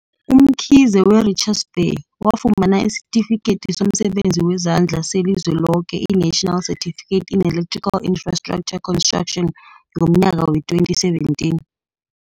UMkhize, we-Richards Bay, wafumana isiTifikedi somSebenzi wezaNdla seliZweloke, i-National Certificate in Electrical Infrestructure Construction, ngomnyaka wee-2017.